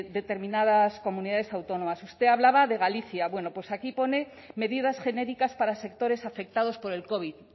determinadas comunidades autónomas usted hablaba de galicia bueno pues aquí pone medidas genéricas para sectores afectados por el covid